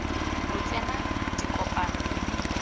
lo tsena dikopano mme nna